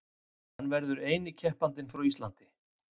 Hann verður eini keppandinn frá Íslandi